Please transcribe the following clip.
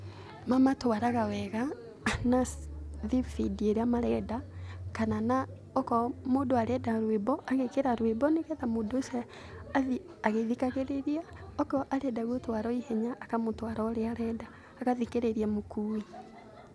Mamatwaraga wega na thibindi marenda kana na okorwo mũndũ arenda rwĩmbo, agekĩra rwĩmbo nĩ getha mũndũ ũcio athiĩ agĩthikagĩrĩria, okorwo arenda gũtwarwo ihenya akamũtwara o ũrĩa arenda, agathikĩrĩria mũkuuo.